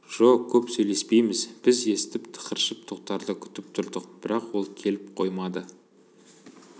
жо көп сөйлеспейміз біз естіп тықыршып тоқтарды күтіп тұрдық бірақ ол келіп қоймады